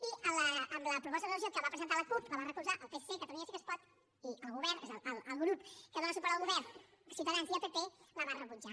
i la proposta de resolució que va presentar la cup la va recolzar el psc catalunya sí que es pot i el govern el grup que dóna suport al govern ciutadans i el pp la van rebutjar